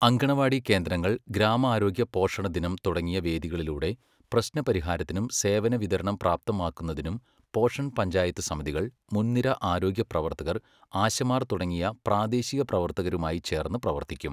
അങ്കണവാടി കേന്ദ്രങ്ങൾ, ഗ്രാമാരോഗ്യ പോഷണദിനം തുടങ്ങിയ വേദികളിലൂടെ പ്രശ്നപരിഹാരത്തിനും സേവനവിതരണം പ്രാപ്തമാക്കുന്നതിനും പോഷൺ പഞ്ചായത്തു സമിതികൾ, മുൻനിര ആരോഗ്യപ്രവർത്തകർ, ആശമാർ തുടങ്ങിയ പ്രാദേശിക പ്രവർത്തകരുമായി ചേർന്നു പ്രവർത്തിക്കും.